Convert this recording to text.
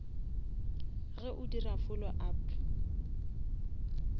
ge o dira follow up